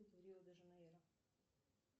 рио де жанейро